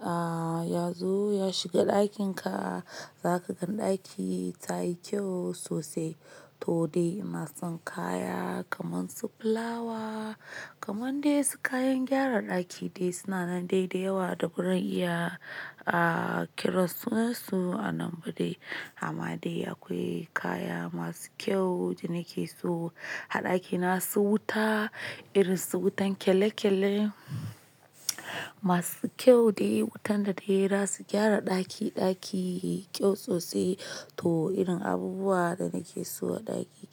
ah, ya zo ya shiga ɗakin ka, za ka gan ɗaki tayi kyau sosai. To dai ina son kaya kaman su flawa, kaman dai su kayan gyara ɗaki dai suna nan dai da yawa da burin iya, ah, kira sunansu a nan ba dai. Amma dai akwai kaya masu kyau da nake so a ɗaki. Na so wuta, irin su wutan kyale kyale masu kyau dai wutan da dai za su gyara ɗaki, ɗaki yayi kyau sosai. To irin abubuwa da nake so a ɗaki.